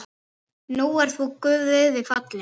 Nú ert þú Guði falinn.